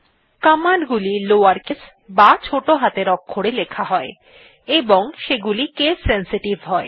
command গুলি lower case বা ছোটো হাতের অক্ষরে লেখা হয় এবং সেগুলি কেস সেনসিটিভ হয়